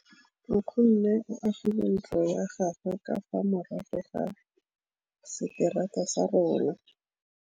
Nkgonne o agile ntlo ya gagwe ka fa morago ga seterata sa rona.